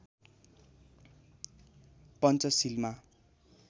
पञ्चशीलमा